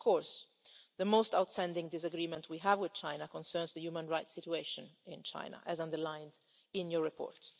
years. Of course, the most outstanding disagreement we have with China concerns the human rights situation in China as underlined in your